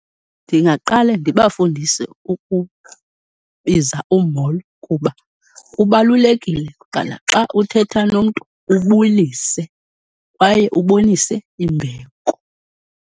Ndingaqale ndibafundise ukubiza umolo kuba kubalulekile kwanaxa uthetha nomntu ubulise kwaye ubonise imbeko.